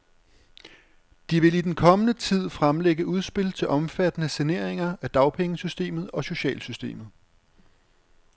De vil i den kommende tid fremlægge udspil til omfattende saneringer af dagpengesystemet og socialsystemet.